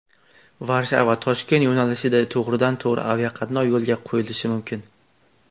Varshava Toshkent yo‘nalishida to‘g‘ridan to‘g‘ri aviaqatnov yo‘lga qo‘yilishi mumkin.